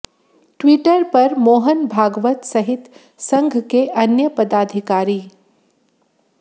Twitter पर मोहन भागवत सहित संघ के अन्य पदाधिकारी